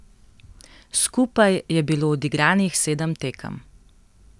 Skupaj je bilo odigranih sedem tekem.